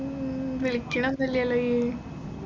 ഉം വിളിക്കണന്നുല്ലല്ലോ നീ